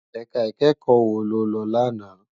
Èká ikèékò wó ló lò làná?